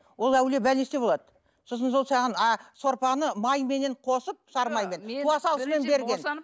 ол әуелі больницада болады сосын сол саған сорпаны майменен қосып сары маймен туа салысымен берген